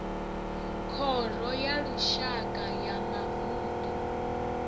khoro ya lushaka ya mavunḓu